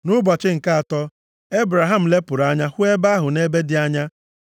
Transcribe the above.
Nʼụbọchị nke atọ, Ebraham lepụrụ anya hụ ebe ahụ nʼebe dị anya.